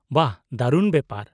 - ᱵᱟᱦ ᱫᱟᱨᱩᱱ ᱵᱮᱯᱟᱨ ᱾